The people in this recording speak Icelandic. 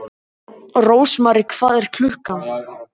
Rósmary, hvað er klukkan?